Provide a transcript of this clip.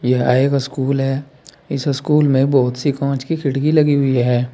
यह एक अस्कूल है इस स्कूल मे बहुत सी कांच की खिड़की लगी हुई है।